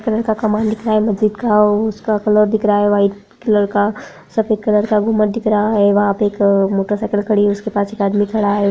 Colour का कमल दिख रहा है मस्जिद का आ उसका कलर दिख रहा है वाइट कलर का सफ़ेद कलर का गुम्बद दिख रहा है वहाँ पे एक मोटर साइकिल खड़ी है उसके पास एक आदमी खड़ा है।